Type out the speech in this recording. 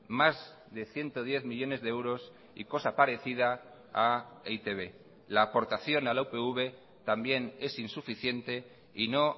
más de ciento diez millónes de euros y cosa parecida a e i te be la aportación a la upv también es insuficiente y no